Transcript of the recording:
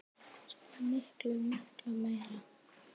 Svo miklu, miklu meira.